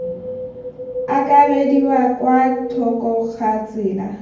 akarediwa kwa thoko ga tsela